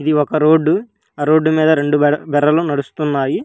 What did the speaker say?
ఒక road road మీద రెండు బర్ బర్రెలు నడుస్తున్నాయి.